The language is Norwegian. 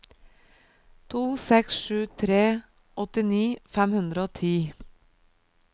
to seks sju tre åttini fem hundre og ti